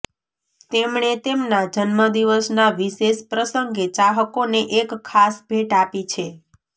તેમણે તેમના જન્મદિવસના વિશેષ પ્રસંગે ચાહકોને એક ખાસ ભેટ આપી છે